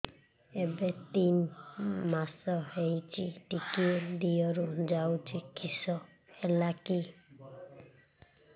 ଏବେ ତିନ୍ ମାସ ହେଇଛି ଟିକିଏ ଦିହରୁ ଯାଉଛି କିଶ ହେଲାକି